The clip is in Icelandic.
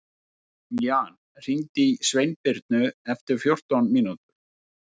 Jan, hringdu í Sveinbirnu eftir fjórtán mínútur.